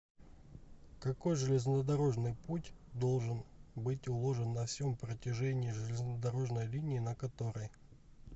какой железнодорожный путь должен быть уложен на всем протяжении железнодорожной линии на которой